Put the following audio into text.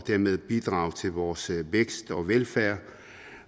dermed bidrager til vores vækst og velfærd